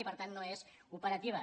i per tant no és opera·tiva